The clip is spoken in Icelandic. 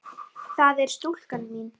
það er stúlkan mín.